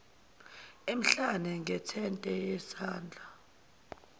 emhlane ngentende yesandla